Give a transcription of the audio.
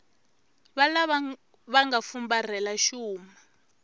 valava va nga fumbarhela xuma